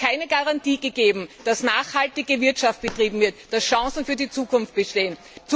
Hier ist keine Garantie gegeben, dass nachhaltige Wirtschaft betrieben wird, dass Chancen für die Zukunft bestehen.